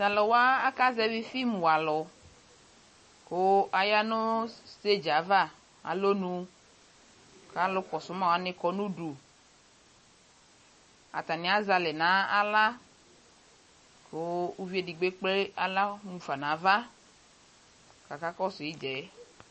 Talu wa aka zɛvi fim wa alu ko aya no stedze ava na lɔnu ka alu kɔso ma wane kɔ no uduAtane azɛ alɛ nahla ko uvi ekple ala mufa nava kaka kɔso idzaɛ